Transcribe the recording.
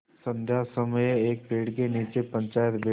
संध्या समय एक पेड़ के नीचे पंचायत बैठी